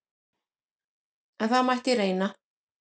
En það mætti reyna!